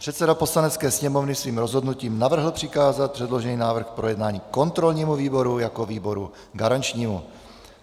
Předseda Poslanecké sněmovny svým rozhodnutím navrhl přikázat předložený návrh k projednání kontrolnímu výboru jako výboru garančnímu.